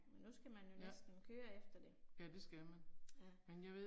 Nu skal man jo næsten køre efter det. ***nonverbal** Ja